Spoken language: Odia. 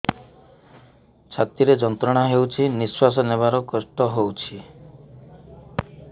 ଛାତି ରେ ଯନ୍ତ୍ରଣା ହେଉଛି ନିଶ୍ଵାସ ନେବାର କଷ୍ଟ ହେଉଛି